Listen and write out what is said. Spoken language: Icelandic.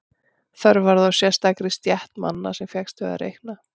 Þörf varð á sérstakri stétt manna sem fékkst við að reikna.